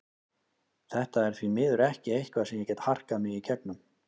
Þetta er því miður ekki eitthvað sem ég get harkað mig í gegnum.